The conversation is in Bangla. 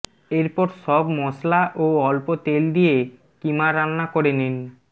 এরপর সব মসলা ও অল্প তেল দিয়ে কিমা রান্না করে নিন